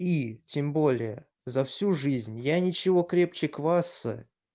и тем более за всю жизнь я ничего крепче кваса